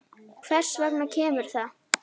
Hvers vegna kemur það?